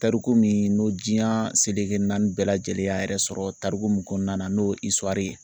Tariku min n'o diyan seleke naani bɛɛ lajɛlen y'a yɛrɛ sɔrɔ tariku min kɔnɔna na n'o ye ye.